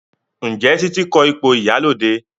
Njé Titi ko ipo ìyálóde?